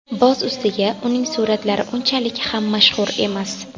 Boz ustiga, uning suratlari unchalik ham mashhur emas.